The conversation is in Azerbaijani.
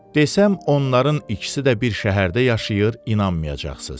Desəm onların ikisi də bir şəhərdə yaşayır, inanmayacaqsınız.